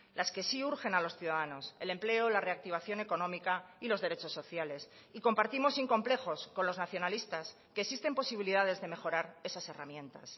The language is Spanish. las que sí urgen a los ciudadanos el empleo la reactivación económica y los derechos sociales y compartimos sin complejos con los nacionalistas que existen posibilidades de mejorar esas herramientas